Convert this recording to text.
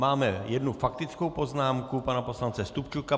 Máme jednu faktickou poznámku pana poslance Stupčuka.